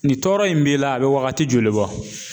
Nin tɔɔrɔ in b'i la a bɛ wagati joli bɔ